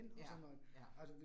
Ja, ja